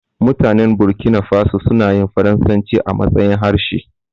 Mutanen Burkina faso suna yin faransaci a matsayin harshe.